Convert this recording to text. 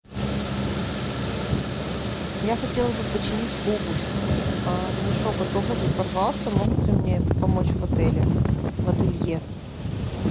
я хотела бы починить обувь ремешок от обуви порвался могут ли мне помочь в отеле в ателье